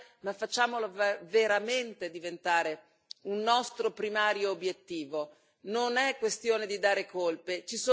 Non possiamo essere bloccati dalla burocrazia, ma facciamolo veramente diventare un nostro primario obiettivo.